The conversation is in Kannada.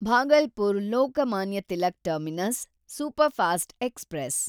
Bhagalpur Lokmanya Tilak terminus superfast express